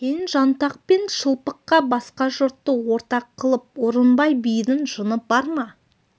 кеңжантақ пен шылпыққа басқа жұртты ортақ қылып орынбай бидің жыны бар ма